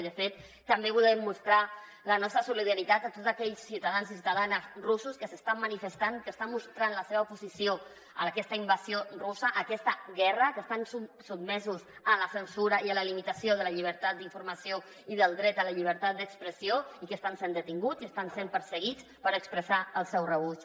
i de fet també volem mostrar la nostra solidaritat a tots aquells ciutadans i ciutadanes russos que s’estan manifestant que estan mostrant la seva oposició a aquesta invasió russa a aquesta guerra que estan sotmesos a la cen·sura i a la limitació de la llibertat d’informació i del dret a la llibertat d’expressió i que estan sent detinguts i estan sent perseguits per expressar·hi el seu rebuig